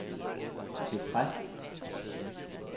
bekræft